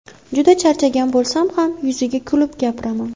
Juda charchagan bo‘lsam ham, yuziga kulib gapiraman.